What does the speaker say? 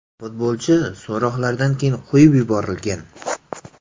Futbolchi so‘roqlardan keyin qo‘yib yuborilgan.